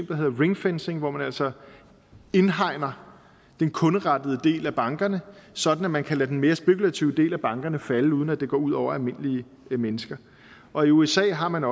der hedder ringfencing hvor man altså indhegner den kunderettede del af bankerne sådan at man kan lade den mere spekulative del af bankerne falde uden at det går ud over almindelige mennesker og i usa har man